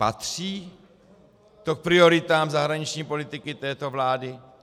Patří to k prioritám zahraniční politiky této vlády?